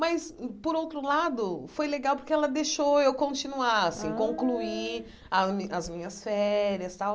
Mas, por outro lado, foi legal porque ela deixou eu continuar, assim, ah concluir as minhas férias e tal.